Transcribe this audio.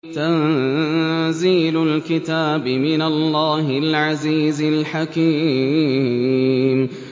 تَنزِيلُ الْكِتَابِ مِنَ اللَّهِ الْعَزِيزِ الْحَكِيمِ